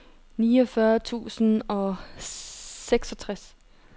niogfyrre tusind og seksogtres